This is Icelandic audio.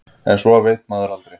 En svo veit maður aldrei.